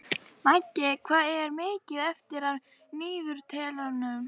Maggey, hvað er mikið eftir af niðurteljaranum?